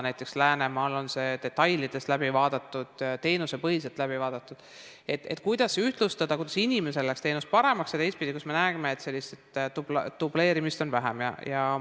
Näiteks, Läänemaal on detailides läbi vaadatud ja teenusepõhiselt läbi vaadatud, kuidas ühtlustada, kuidas inimesele läheks teenus paremaks, ja teistpidi, kuidas me näeksime, et dubleerimist oleks vähem.